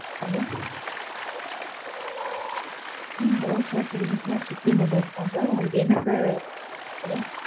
Hello, ஹம் hello sir சொல்லுங்க Supreme mobiles தான் sir உங்களுக்கு என்ன sir வேணும்?